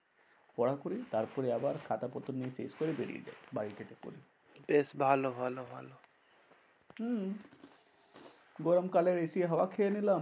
পড়া করি তারপরে আবার খাতাপত্র নিয়ে শেষ করে বেরিয়ে যাই বাড়ি থেকে পরে। বেশ ভালো ভালো ভালো। হম গরম কালে AC র হওয়া খেয়ে নিলাম।